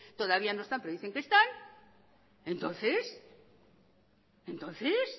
todavía no están pero dicen que están entonces entonces